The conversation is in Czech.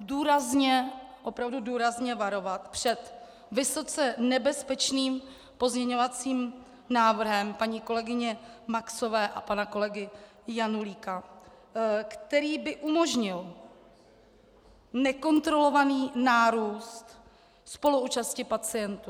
důrazně, opravdu důrazně varovat před vysoce nebezpečným pozměňovacím návrhem paní kolegyně Maxové a pana kolegy Janulíka, který by umožnil nekontrolovaný nárůst spoluúčasti pacientů.